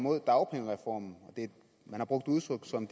mod dagpengereformen man har brugt udtryk om